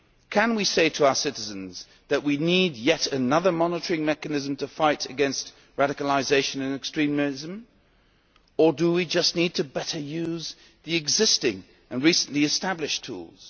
Can we say to our citizens that we need yet another monitoring mechanism to fight against radicalisation and extremism, or do we just need to better use the existing and recently established tools?